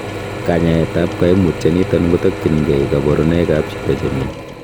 Kanyaetab koimutioniton ketokyingei koburonoikab chito chemi.